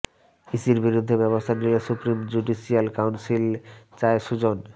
ইসির বিরুদ্ধে ব্যবস্থা নিতে supreme judicial council Sujan Sujan